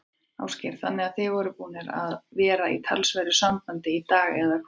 Ásgeir: Þannig að þið eruð búnir að vera í talsverðu sambandi í dag, eða hvað?